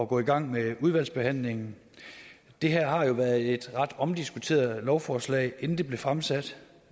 gå i gang med udvalgsbehandlingen det her har jo været et ret omdiskuteret lovforslag inden det blev fremsat